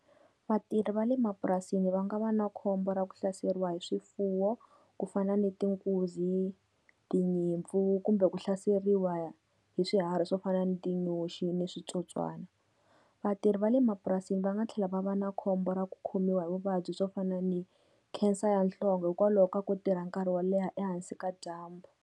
Vatirhi va le mapurasini va nga va na khombo ra ku hlaseriwa hi swifuwo ku fana ni ti nkunzi, tinyimpfu, kumbe ku hlaseriwa hi swiharhi swo fana ni tinyoxi ni switsotswana. Vatirhi va le mapurasini va nga tlhela va va na khombo ra ku khomiwa hi vuvabyi swo fana ni cancer ya nhlonge hikwalaho ka ku tirha nkarhi wo leha ehansi ka dyambu.